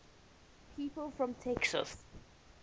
people from texas